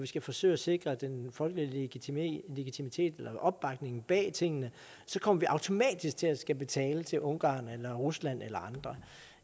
skal forsøge at sikre den folkelige legitimitet legitimitet eller opbakning bag tingene kommer vi automatisk til at skulle betale til ungarn eller rusland eller andre